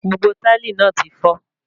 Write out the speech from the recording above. Gbogbo táìlì náà tí fọ́